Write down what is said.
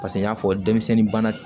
Paseke n y'a fɔ denmisɛnnin bana